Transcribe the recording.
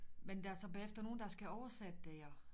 Men der er så bagefter nogen der skal oversætte det og